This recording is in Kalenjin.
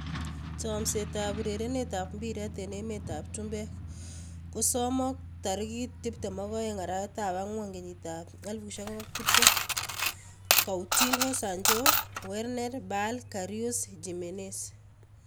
Chomset ab urerenet ab mbiret eng emet ab chumbek kosomok 22.04.2020: Coutinho, Sancho, Werner, Bale, Karius, Jimenez